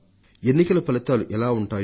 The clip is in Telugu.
ఎన్నికల ఫలితాలు ఎలా ఉంటాయో